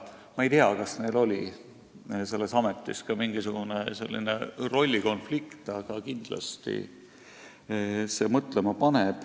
Ma ei tea, kas neil oli selles ametis ka mingisugune rollikonflikt, aga kindlasti see teema mõtlema paneb.